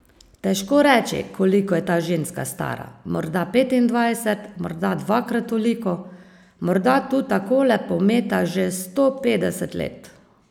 Težko reči, koliko je ta ženska stara, morda petindvajset, morda dvakrat toliko, morda tu takole pometa že sto petdeset let.